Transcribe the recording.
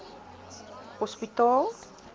hospitaal